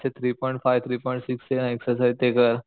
Three point five three point six exercise ती करा.